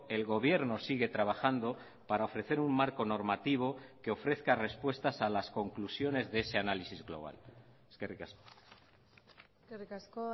el gobierno sigue trabajando para ofrecer un marco normativo que ofrezca respuestas a las conclusiones de ese análisis global eskerrik asko eskerrik asko